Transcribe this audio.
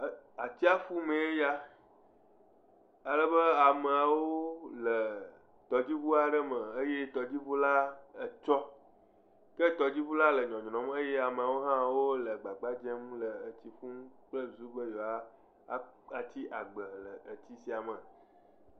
Atsiaƒu mee ya ale be ameawo le tɔdziʋua aɖe me eye tɔdziʋu la etsɔ ke tɔdziʋu la le nyɔnyrɔm eye amewo le agbagba dzem be ye woa di agbe le tsia me.